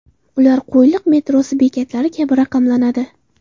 Ular Qo‘yliq metrosi bekatlari kabi raqamlanadi .